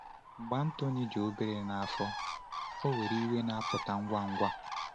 Mgbe Antoine dị obere n’afọ, ọ nwere iwe na-apụta ngwa ngwa.